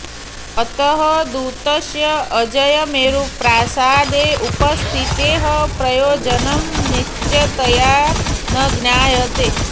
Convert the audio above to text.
अतः दूतस्य अजयमेरुप्रासादे उपस्थितेः प्रयोजनं निश्चिततया न ज्ञायते